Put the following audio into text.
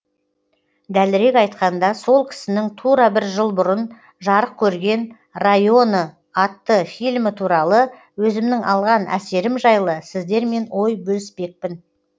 дәлірек айтқанда сол кісінің тура бір жыл бұрын жарық көрген районы атты фильмі туралы өзімнің алған әсерім жайлы сіздермен ой бөліспекпін